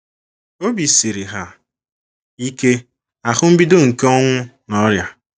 Obi siri ha ike - ahụ mbido nke ọnwụ na ọrịa.